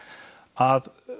að